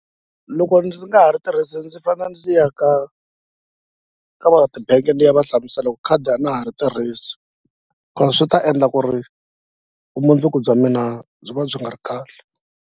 Loko ndzi nga ha ri tirhisi ndzi fane ndzi ya ka ka va ti-bank ni ya va hlamusela ku khadi a na ha ri tirhisi ko swi ta endla ku ri vumundzuku bya mina byi va byi nga ri kahle.